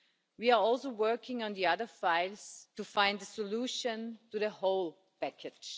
We are also working on the other files to find a solution to the whole package.